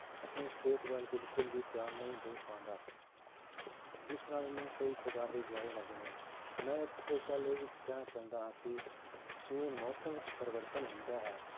ਆਪਣੀ ਸਿਹਤ ਵੱਲ ਬਿਲਕੁਲ ਵੀ ਧਿਆਨ ਨਹੀਂ ਦੇ ਪਾਉਂਦਾ ਜਿਸ ਨਾਲ ਉਹਨੂੰ ਕਈ ਪ੍ਰਕਾਰ ਦੀਆਂ ਬਿਮਾਰੀਆਂ ਲੱਗ ਜਾਂਦੀਆਂ ਹਨ, ਮੈਂ ਇੱਥੇ ਇੱਕ ਗੱਲ ਇਹ ਵੀ ਕਹਿਣਾ ਚਾਹੁੰਦਾ ਹਾਂ ਕਿ ਜਿਵੇਂ ਮੌਸਮ ਵਿੱਚ ਪਰਿਵਰਤਨ ਹੁੰਦਾ ਹੈ